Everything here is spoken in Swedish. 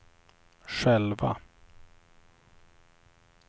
själva